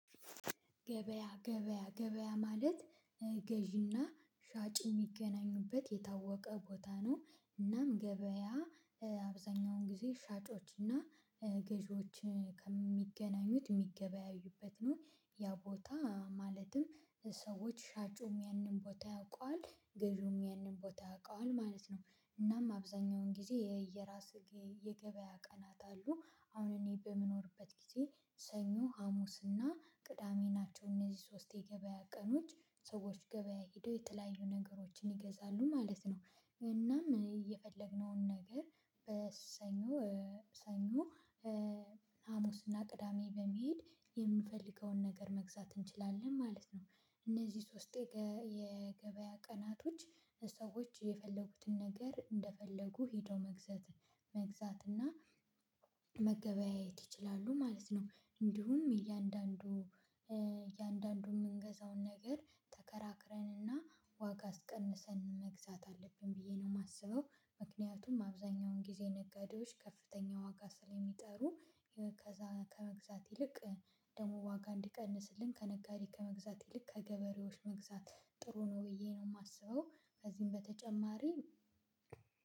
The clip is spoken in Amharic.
ገበያ ገበያ ገበያ ማለት ገዢና ሻጭ የሚገናኙበት የታወቀ ቦታ ነው እናም ገበያ አብዛኛውን ጊዜ ሻጮች እና ገዢዎች ከሚገናኙት የሚገበያዩበት ነው ያ ቦታ ማለትም ሰዎች ሻጩም ያንን ቦታ ያውቀዋል ገጩም ይህንን ቦታ ያውቀዋል ማለት ነው። እናም አብዛኛውን ጊዜ የየራስ የገበያ ቀናት አሉ። አሁን እኔ በምኖርበት ጊዜ ሰኞ ሀሙስና ቅዳሜ ናቸው እነዚህ ሶስት የገበያ ቀኖች ሰዎች ገበያ ሄደው የተለያዩ ነገሮችን ይገዛሉ ማለት ነው። እናም እኔ የፈለግነውን ነገር በሰኞ ሰኞ ሀሙስና ቅዳሜ በመሄድ የምፈልገውን ነገር መግዛት እንችላለን ማለት ነው። እነዚህ ሶስት የገበያ ቀናቶች ሰዎች የፈለጉትን ነገር እንደፈለጉ ሄደው መግዛት መግዛት እና መገበያየት ይችላሉ ማለት ነው። እንዲሁም እያንዳንዱ እያንዳንዱ የምንገዛውን ነገር ተከራክረንና ዋጋ አስቀንሰን መግዛት አለብን ብዬ ነው የማስበው። ምክንያቱም አብዛኛውን ጊዜ ነገዶች ከፍተኛ ዋጋ ስለሚጠሩ ከመግዛት ይልቅ ደግሞ ዋጋ እንዲቀንስልን ከነጋዴ ከመግዛት ይልቅ ከገበሬዎች መግዛት ጥሩ ነው ብዬ ነው የማስበው። ከዚህም በተጨማሪ